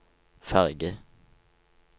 ferge